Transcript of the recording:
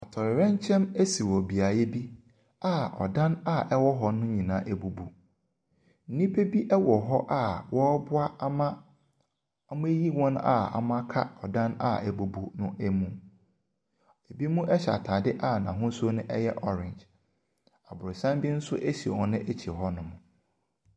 Atɔyerɛnkyɛm asi wɔ beaeɛ bi a ɔdan a ɛwɔ hɔ nyinaa abubu. Nnipa bi hɔ a wɔreboa ama wɔayiyi wɔn a aka ɔdan a abubu no mu. Ebinom hyɛ ataade a n'ahosuo no yɛ orange. Abrɔsan bi nso si wɔn akyi hɔ.